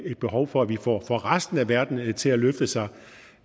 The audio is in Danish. et behov for at vi får resten af verden til at løfte sig